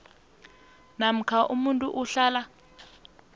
namkha umuntu ohlala